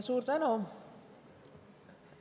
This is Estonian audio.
Suur tänu!